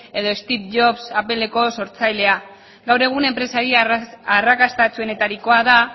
edo steve jobs appleko sortzailea gaur egun enpresari arrakastatsuenetarikoa da